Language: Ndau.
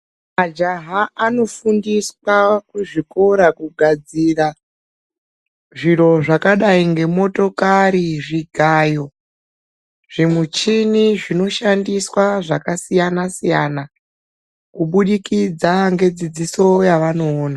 Majaha anofundiswa kuzvikora kugadzira zviro zvakadai ngemotokari, zvigayo zvimichini zvinoshandiswa zvakasiyana-siyana kubudikidza ngedzidziso yavanoona.